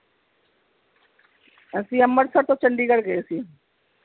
ਅਸੀਂ ਅੰਬਰਸਰ ਤੋਂ ਚੰਡੀਗੜ੍ਹ ਗਏ ਸੀ